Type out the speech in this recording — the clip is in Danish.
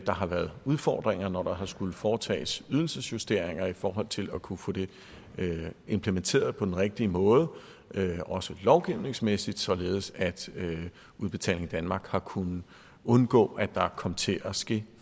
har været udfordringer når der har skullet foretages ydelsesjusteringer i forhold til at kunne få det implementeret på den rigtige måde også lovgivningsmæssigt således at udbetaling danmark har kunnet undgå at der kom til at ske